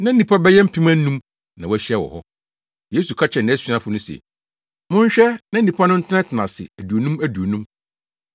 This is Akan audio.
Na nnipa bɛyɛ mpem anum na wɔahyia wɔ hɔ. Yesu ka kyerɛɛ nʼasuafo no se, “Monhwɛ na nnipa no ntenatena ase aduonum aduonum.”